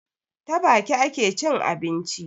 Ta baki ake cin abinci